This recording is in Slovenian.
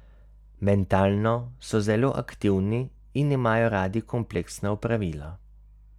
Mentalno so zelo aktivni in imajo radi kompleksna opravila.